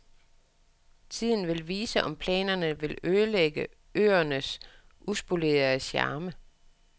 Tiden vil vise, om planerne vil ødelægge øernes uspolerede charme.